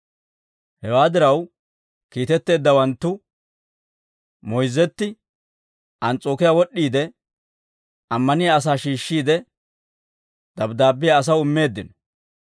Hewaa diraw, kiitetteeddawanttu moyzzetti, Ans's'ookiyaa wod'd'iide, ammaniyaa asaa shiishshiide, dabddaabbiyaa asaw immeeddino.